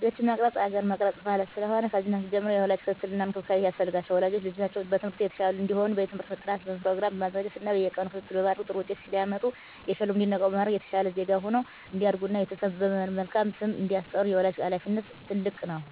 ልጆችን መቅረፅ ሀገር መቅረፅ ማለት ስለሆነ። ከልጅነታቸው ጀምሮ የወላጅ ክትትል እና እንክብካቤ ያስፈልጋቸዋል። ወላጆች ልጆቻቸው በትምህርት የተሻሉ እንዲሆኑ የትምህርት ጥናት ፕሮግራም በማዘጋጀት እና በየቀኑ ክትትል በማድረግ ጥሩ ውጤት ሲያመጡ እየሸለሙ እንዲነቃቁ በማድረግ የተሻለ ዜጋ ሁነው እንዲያድጉ እና ቤተሰብን በመልካም ስም እንዲያስጠሩ የወላጅ ሀላፊነት ትልቅ ነው።